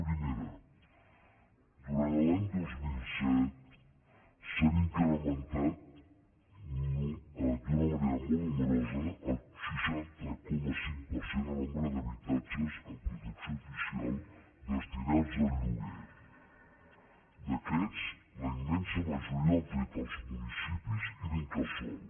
primera durant l’any dos mil set s’ha incrementat d’una manera molt nombrosa el seixanta coma cinc per cent el nombre d’habitatges en protecció oficial destinats al lloguer d’aquests la immensa ma joria ho han fet els municipis i l’incasol